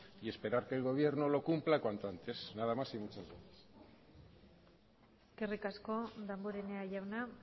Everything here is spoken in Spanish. y esperar que el gobierno lo cumpla cuanto antes nadas más y muchas gracias eskerrik asko damborenea jauna